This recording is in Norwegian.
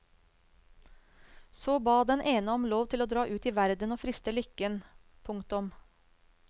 Så ba den ene om lov til å dra ut i verden og friste lykken. punktum